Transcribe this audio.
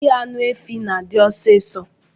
Ighe anụ efi na adi ọsis